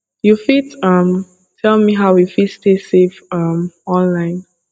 you fit um tell me how you fit stay safe um online